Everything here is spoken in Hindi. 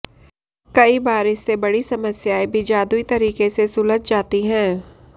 कई बार इससे बड़ी समस्याएं भी जादुई तरीके से सुलझ जाती हैं